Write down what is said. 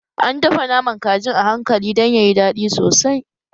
An dafa naman kajin a hankali dan yayi daɗi sosai